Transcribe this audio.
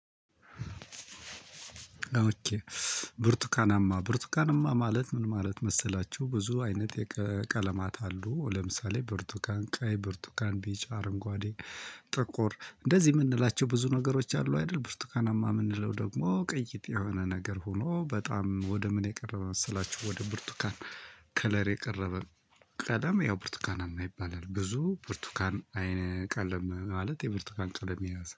ብርቱካናማ ብርቱካናማ ማለት ምን ማለት መሰላችሁ ብዙ አይነት የቀለማት አሉ ለምሳሌ ብርቱካን ቀይ ብርቱካን ቢጫ አረንጓዴ ጥቁር እንደዚህ የምንላቸው ብዙ ነገሮች አሉ አይደል? ብርቱካናማ የምንለው ደግሞ ቅይጥ የሆነ ነገር ሆኖ በጣም ወደ ምን የቀረበ መሰላችሁ ወደ ብርቱካን። ከለር የቀረበ ቀለም ያው ብርቱካናማ ይባላል። ብዙ ብርቱካን አይነ ቀለም ማለት የብርቱካን ቀለም ይመስላል